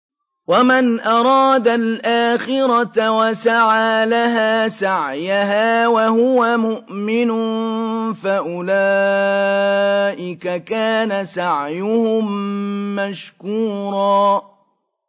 وَمَنْ أَرَادَ الْآخِرَةَ وَسَعَىٰ لَهَا سَعْيَهَا وَهُوَ مُؤْمِنٌ فَأُولَٰئِكَ كَانَ سَعْيُهُم مَّشْكُورًا